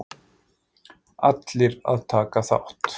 Allir að taka þátt!!!!!!